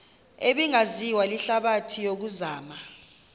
ebingaziwa lihlabathi yokuzama